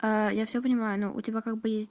я все понимаю но у тебя как бы есть